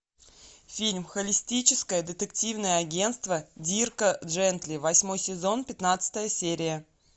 фильм холистическое детективное агентство дирка джентли восьмой сезон пятнадцатая серия